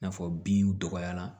I n'a fɔ binw dɔgɔyara